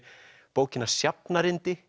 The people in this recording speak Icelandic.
bókina